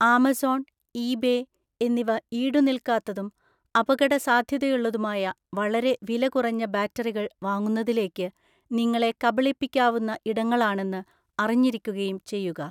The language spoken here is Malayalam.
ആമസോൺ, ഈബേ എന്നിവ ഈടുനിൽക്കാത്തതും അപകടസാധ്യതയുള്ളതുമായ വളരെ വിലകുറഞ്ഞ ബാറ്ററികൾ വാങ്ങുന്നതിലേക്ക് നിങ്ങളെ കബളിപ്പിക്കാവുന്ന ഇടങ്ങളാണെന്ന് അറിഞ്ഞിരിക്കുകയും ചെയ്യുക.